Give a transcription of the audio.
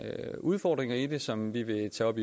udfordringer i det som vi vil tage op